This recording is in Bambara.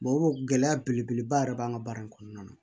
gɛlɛya belebeleba yɛrɛ b'an ka baara in kɔnɔna na